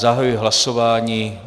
Zahajuji hlasování.